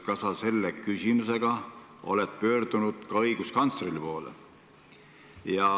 Kas sa selle küsimusega oled pöördunud ka õiguskantsleri poole?